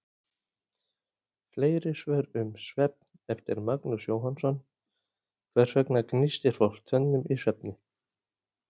Fleiri svör um svefn, eftir Magnús Jóhannsson: Hvers vegna gnístir fólk tönnum í svefni?